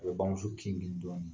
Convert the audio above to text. A bɛ bamuso kin k'u